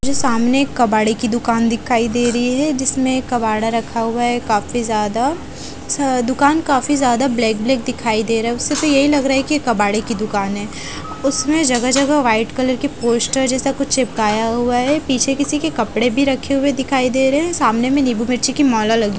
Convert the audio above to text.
जो सामने कबाड़े की दुकान दिखाई दे रही है जिसमें कबाड़ा रखा हुआ है काफी ज्यादा दुकान काफी ज्यादा ब्लैक ब्लैक दिखाई दे रहा है उससे तो यही लग रहा है कि कबाड़े की दुकान है उसमें जगह-जगह वाइट कलर के पोस्टर जैसा कुछ चिपकाया हुआ है पीछे किसी के कपड़े भी रखे हुए दिखाई दे रहे हैं सामने में नींबू मिर्ची की माला लगी।